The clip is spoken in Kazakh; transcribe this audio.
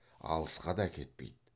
алысқа да әкетпейді